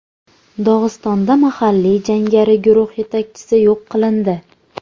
Dog‘istonda mahalliy jangari guruh yetakchisi yo‘q qilindi.